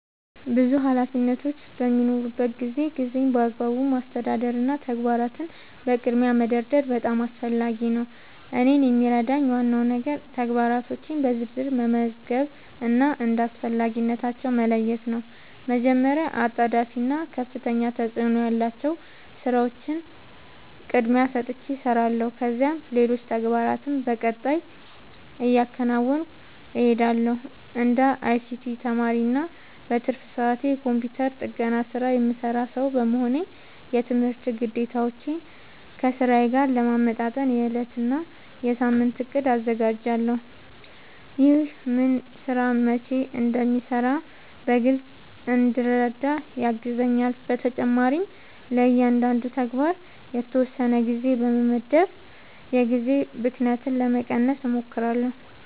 ብዙ ኃላፊነቶች በሚኖሩበት ጊዜ ጊዜን በአግባቡ ማስተዳደር እና ተግባራትን በቅድሚያ መደርደር በጣም አስፈላጊ ነው። እኔን የሚረዳኝ ዋናው ነገር ተግባራቶቼን በዝርዝር መመዝገብ እና እንደ አስፈላጊነታቸው መለየት ነው። መጀመሪያ አጣዳፊ እና ከፍተኛ ተፅእኖ ያላቸውን ሥራዎች ቅድሚያ ሰጥቼ እሰራለሁ፣ ከዚያም ሌሎች ተግባራትን በቀጣይ እያከናወንሁ እሄዳለሁ። እንደ አይሲቲ ተማሪ እና በትርፍ ሰዓቴ የኮምፒውተር ጥገና ሥራ የምሠራ ሰው በመሆኔ፣ የትምህርት ግዴታዎቼን ከሥራዬ ጋር ለማመጣጠን የዕለት እና የሳምንት እቅድ አዘጋጃለሁ። ይህ ምን ሥራ መቼ እንደሚሠራ በግልጽ እንድረዳ ያግዘኛል። በተጨማሪም ለእያንዳንዱ ተግባር የተወሰነ ጊዜ በመመደብ የጊዜ ብክነትን ለመቀነስ እሞክራለሁ።